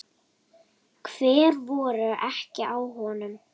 Hver voru ekki á honum?